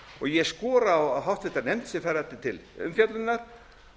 ég skora á háttvirtu nefnd sem fær þetta til umfjöllunar